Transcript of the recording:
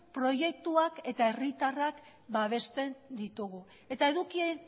proiektuak eta herritarrak babesten ditugu eta edukien